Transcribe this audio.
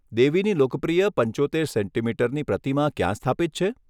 દેવીની લોકપ્રિય પંચોતેર સેન્ટિમીટરની પ્રતિમા ક્યાં સ્થાપિત છે?